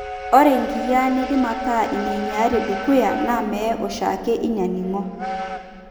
Ore inkiyiaa neidim aataa inainyiaari dukuya naa mee oshiake inaaning'o.